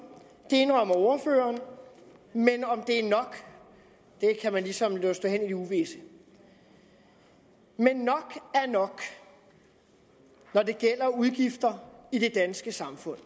det indrømmer ordføreren men om det er nok kan man ligesom lade stå hen i det uvisse men nok er nok når det gælder udgifter i det danske samfund